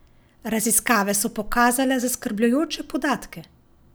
Raziskave so pokazale zaskrbljujoče podatke!